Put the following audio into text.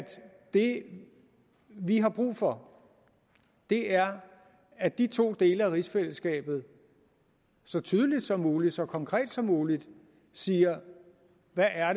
det vi har brug for er at de to dele af rigsfællesskabet så tydeligt som muligt så konkret som muligt siger hvad